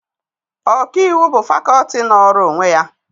Ọkaiwu bụ fakọọti nọọrọ onwe ya